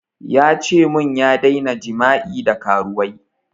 Ya ce mun ya daina jima'i da karuwai